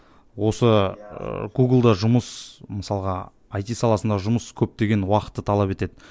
осы ы гугл да жұмыс мысалға айти саласында жұмыс көптеген уақытты талап етеді